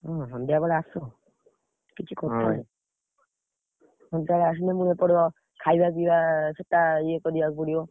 ହୁଁ ସନ୍ଧ୍ୟାବେଳେ ଆସ। କିଛି ସନ୍ଧ୍ୟାବେଳେ ଆସିଲେ ମୁଁ ଏପଟ, ଖାଇବା ପିଇବା ସେଟା ଇଏ କରିବାକୁ ପଡିବ।